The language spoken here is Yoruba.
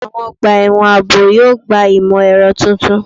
Àwọn ọgbà ẹ̀wọ̀n ààbò yóò gba imọ-ẹrọ tuntun